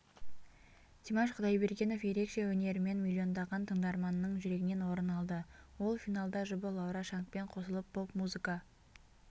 димаш құдайбергенов ерекше өнерімен миллиондаған тыңдарманіың жүрегінен орын алды ол финалдажұбы лаура шангпен қосылып поп-музыка